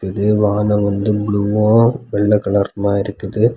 இது வானம் வந்து ப்ளூவு வெள்ளை கலருமா இருக்குது.